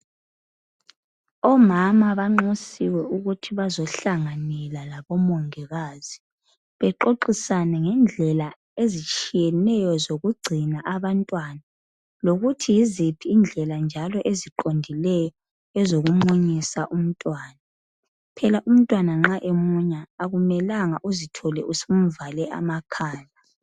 Omama banxusiwe ukuthi bazohlanganyela labo mongikazi. Bexoxisane ngendlela ezitshiyeneyo zokugcina abantwana lokuthi yizithi njalo indlela eziqondileyo zokumunyisa umntwana. Phela umntwana nxa emunya akumelanga uzithole usumvale amakhala.